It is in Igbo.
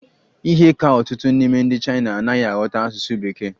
Ihe ka ọtụtụ n'ime ndị Chaina anaghị aghọta asụsụ Bekee.